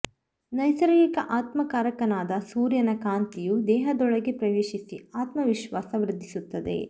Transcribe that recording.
ನೈಸರ್ಗಿಕ ಆತ್ಮ ಕಾರಕನಾದ ಸೂರ್ಯನ ಕಾಂತಿಯು ದೇಹದೊಳಗೆ ಪ್ರವೇಶಿಸಿ ಆತ್ಮವಿಶ್ವಾಸ ವೃದ್ಧಿಸುತ್ತದೆ